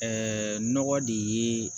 nɔgɔ de ye